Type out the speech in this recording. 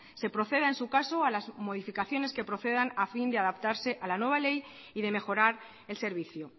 se proceda en su caso a las modificaciones que procedan a fin de adaptarse a la nueva ley y de mejorar el servicio